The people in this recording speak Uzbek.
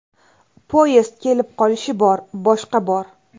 Poyezd kelib qolishi bor, boshqa bor.